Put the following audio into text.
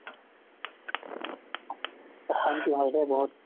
অশান্তি হয় দেই বহুত